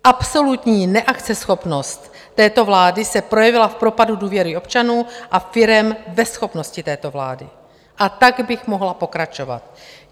Absolutní neakceschopnost této vlády se projevila v propadu důvěry občanů a firem ve schopnosti této vlády, a tak bych mohla pokračovat.